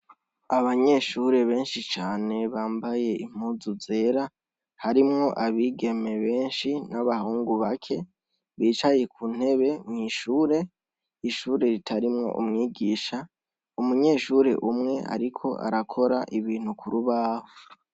Abanyeshure benshi cane bambaye impuzu zera harimwo abigeme benshi n'abahungu bake bicaye ku ntebe mw’ishure, ishure ritarimwo umwigisha umunyeshure umwe ariko arakora ibintu kurubaho.